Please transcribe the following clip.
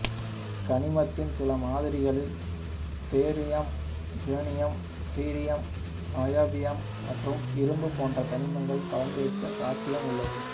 கனிமத்தின் சில மாதிரிகளில் thorium uranium cerium niobium மற்றும் இரும்பு போன்ற தனிமங்களும் கலந்திருக்க சாத்தியம் உள்ளது